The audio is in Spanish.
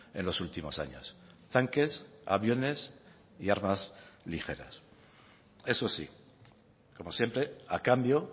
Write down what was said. en los últimos años tanques aviones y armas ligeras eso sí como siempre a cambio